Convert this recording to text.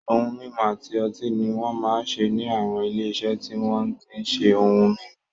Ohun mímu àti ọtí ni won máa ń ṣe ní àwọn ilé-iṣẹ́ tí wọ́n tí ń ṣe ohun mímu.